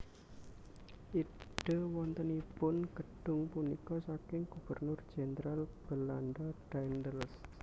Ide wontenipun gedhung punika saking Gubernur Jenderal Belanda Daendels